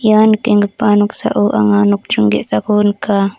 ia nikenggipa noksao anga nokdring ge·sako nika.